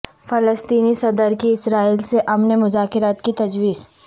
فلسطینی صدر کی اسرائیل سے امن مذاکرات کی تجویز